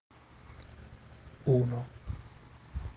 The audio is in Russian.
луна